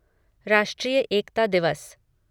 राष्ट्रीय एकता दिवस